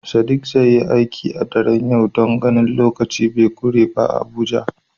Sadiq zai yi aiki a daren yau don ganin lokaci be kure ba a Abuja.